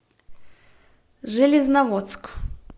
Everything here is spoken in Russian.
железноводск